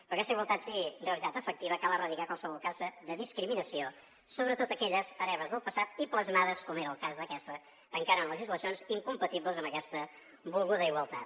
perquè aquesta igualtat sigui realitat efectiva cal erradicar qualsevol cas de discriminació sobretot aquelles hereves del passat i plasmades com era el cas d’aquesta encara en legislacions incompatibles amb aquesta volguda igualtat